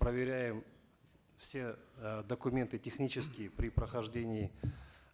проверяем все э документы технические при прохождении